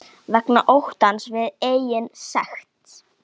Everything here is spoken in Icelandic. Vegna óttans við eigin sekt.